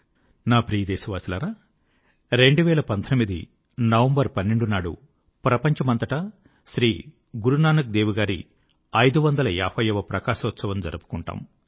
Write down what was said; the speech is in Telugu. నా ప్రియ దేశవాసులారా 12 నవంబర్ 2019 నాడు ప్రపంచమంతటా శ్రీ గురునానక్ దేవ్ గారి 550 వ ప్రకాశోత్సవము జరుపుకుంటారు